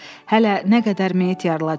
Hələ nə qədər meyit yarılacaqdı.